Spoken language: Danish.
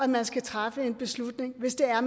der skal træffes en beslutning hvis det er